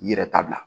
I yɛrɛ tabila